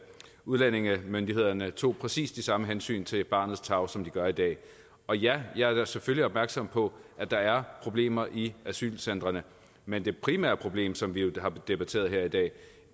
udlændingemyndighederne tog præcis de samme hensyn til barnets tarv som de gør i dag ja jeg er selvfølgelig opmærksom på at der er problemer i asylcentrene men det primære problem som vi har debatteret her i dag